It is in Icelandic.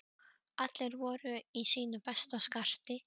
Allir voru í sínu besta skarti.